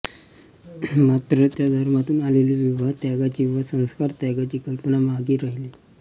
मात्र त्या धर्मातून आलेली विवाहत्यागाची व संसारत्यागाची कल्पना मागे राहिली